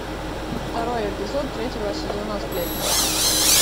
второй эпизод третьего сезона сплетницы